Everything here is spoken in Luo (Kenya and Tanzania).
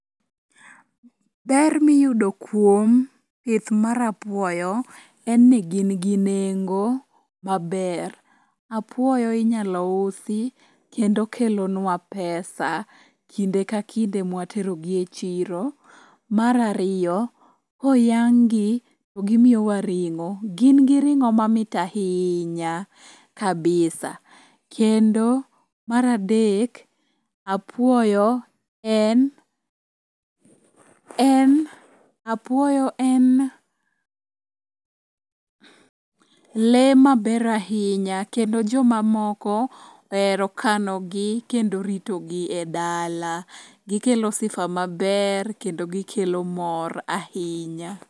Ber miyudo kuom pith mar apuoyo en ni gin gi nengo maber. Apuoyo inyalo usi kendo kelonwa pesa kinde ka kinde mwaterogi e chiro. Mar ariyo, koyang'gi to gimiyowa ring'o, gin gi ring'o mamit ahinya kabisa, kendo mar adek apuoyo en lee maber ahinya kendo jomamoko ohero kanogi kendo ritogi e dala, gikelo sifa maber kendo gikelo mor ahinya.